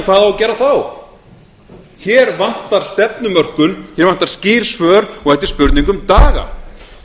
að gera þá hér vantar stefnumörkun hér vantar skýr svör og þetta er spurning um daga